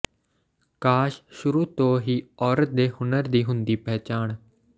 ਕਾਸ਼ ਸੁਰੂ ਤੋਂ ਹੀ ਔਰਤ ਦੇ ਹੁਨਰ ਦੀ ਹੁੰਦੀ ਪਹਿਚਾਣ